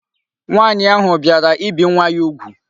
Nwaanyi ahu biara ibi nwa ya ugwu